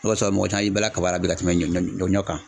O de kosɔn, mɔgɔ caman y'i bala la bi ka tɛmɛ ɲɔ kan.